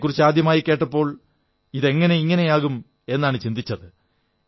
ഇതെക്കുറിച്ച് ആദ്യമായി കേട്ടപ്പോൽ ഇതെങ്ങനെ ഇങ്ങനെയാകും എന്നാണു ചിന്തിച്ചത്